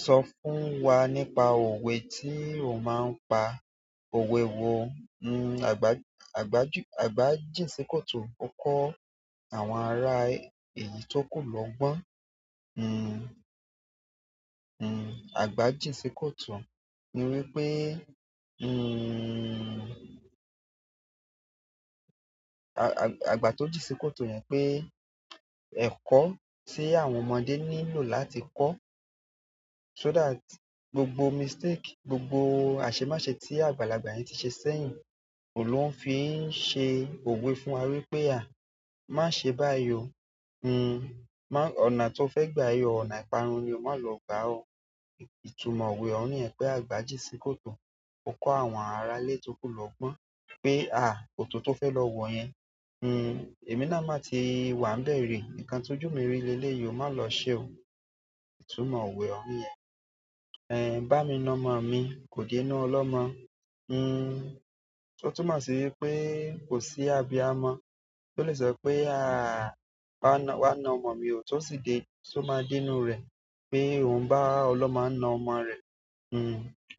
Sọ fún wa nípa òwe tí o máa ń pa. Òwe wo? Nn, àgbà, àgbájú, àgbà jín si koto ó kọ́ àwọn ará èyí tó ku logbọ́n. Nn, nn, àgbà jínsi koto ni wípé, nn, àgbà, àgbà tó jín si koto yẹn pé ẹ̀kọ́ tí àwọn ọmọdé nílò láti kọ́, so that gbogbo mistake, gbogbo àṣemase tí àgbàlagbà yẹn ti ṣe sẹ́yìn, òun ló ń fi ń ṣe òwe fún wa wípé à, "Má ṣe báyìí o." Nn, má, ọ̀nà tó fẹ́ gba yìí o, ọ̀nà ìparun ni o má lọ gbà o. Ìtumọ̀ òwe ọ̀hun yẹn pé àgbà jínsi koto ó kọ́ àwọn ará ilé tó ku lọgbọ́n pé à, kòtò tó fẹ́ lọ wọ̀ yẹn, nn, èmi náà má ti wà bẹ̀rẹ̀, nǹkan tó jù mi rí leleyìí o má lọ ṣe o. Ìtumọ̀ òwe ọ̀hun yẹn. Ẹ̀ bá mi na ọmọ mi, kò dé inú ọlọ́mọ. Nn, ó tún mo sì wípé kò sí abiyamọ tó le sọ pé à, á wa na ọmọ mi ò tó sì dé, tó máa dé inú rẹ̀ pé òun bá ọlọ́mọ na ọmọ rẹ̀. Nn,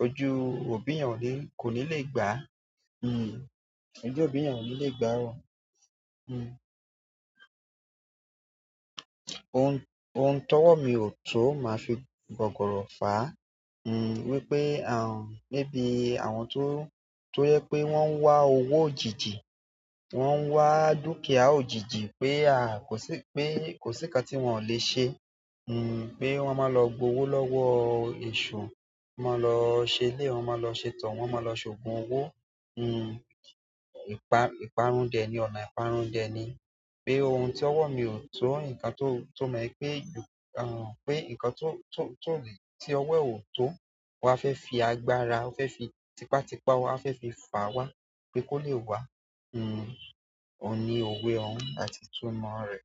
ojú òbí yen ò ní ko ni lè gbàá. Nn, ojú òbí yen ò ní lè gbàá. Nn, ohun, ohun tó wọ̀ mí ò tó máa fi gọ̀gọ̀rọ̀ fà á. Nn, wípé, à, maybe àwọn tó, tó jẹ pé wọ́n ń wá owó òjijì, wọ́n ń wá dúkìá òjijì pé à, kò sí, pé kò sí ǹkan tí wọ̀n ò lè ṣe. Nn, pé wọ́n máa lọ gba owó lọ́wọ́ èṣù, wọ́n máa lọ ṣe ilé, wọ́n máa lọ ṣe tọ̀, wọ́n máa lọ ṣògùn owó. Nn, ìparun dẹ̀ ni, ọ̀nà ìparun dẹ̀ ni. Pé ohun tí owọ̀ mí ò tó, ǹkan tó, tó mọ̀ pé, à, pé ǹkan tó, tó, tó lè, tí ọwọ́ ò tó, wà á fẹ́ fi agbára, wà á fẹ́ fi tipátipá, wà á fẹ́ fi fàá wá pé kó lè wá. Nn, òun ni òwe ọ̀hun àti ìtumọ̀ rẹ̀.